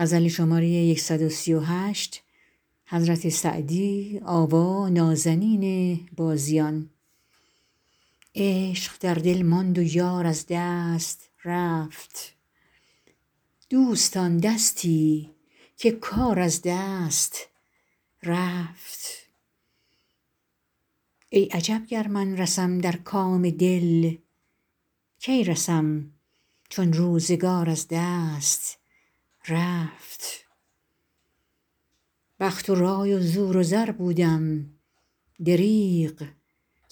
عشق در دل ماند و یار از دست رفت دوستان دستی که کار از دست رفت ای عجب گر من رسم در کام دل کی رسم چون روزگار از دست رفت بخت و رای و زور و زر بودم دریغ